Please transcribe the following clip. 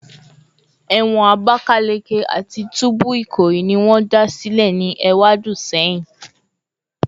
Ewon Abakaleke ati tubu Ikoyi ni won da sile ni ewadun seyin